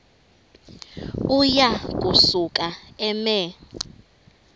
uya kusuka eme